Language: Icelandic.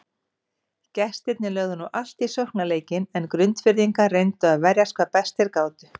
Gestirnir lögðu nú allt í sóknarleikinn en Grundfirðingar reyndu að verjast hvað best þeir gátu.